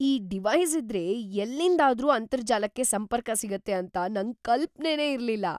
ಈ ಡಿವೈಸ್‌ ಇದ್ರೆ ಎಲ್ಲಿಂದ್ಲಾದ್ರೂ ಅಂತರ್ಜಾಲಕ್ಕೆ ಸಂಪರ್ಕ ಸಿಗತ್ತೆ ಅಂತ ನಂಗ್‌ ಕಲ್ಪನೆನೇ ಇರ್ಲಿಲ್ಲ.